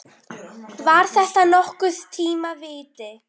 Var þetta nokkurn tíma víti?